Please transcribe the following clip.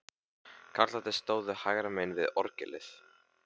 Karlarnir stóðu hægra megin við orgelið.